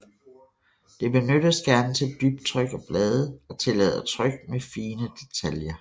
Det benyttes gerne til dybtryk af blade og tillader tryk med fine detaljer